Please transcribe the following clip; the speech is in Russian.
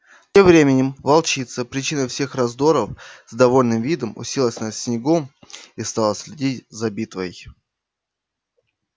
тем временем волчица причина всех раздоров с довольным видом уселась на снегу и стала следить за битвой